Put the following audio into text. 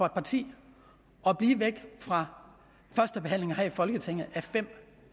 et parti bliver væk fra førstebehandlingen her i folketinget af fem